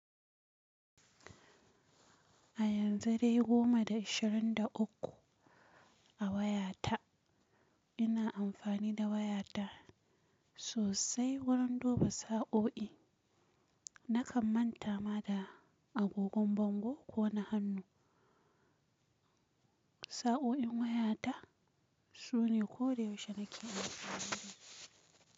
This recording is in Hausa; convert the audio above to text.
A yanzu dai goma da ishirin da uku a wayata. Ina amfani da wayata sosai wurin duba sa'o'i. Nakan manta ma da agogon bango ko na hannu. Sa'o'in wayata, sune koda yaushe nake amfani da su.